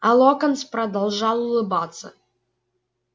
а локонс продолжал улыбаться